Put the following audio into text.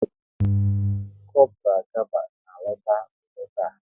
Kopral Gaba na-alọta ụlọ taa